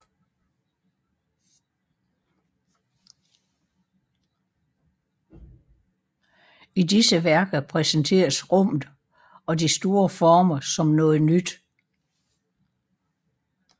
I disse værker præsenteres rummet og de store former som noget nyt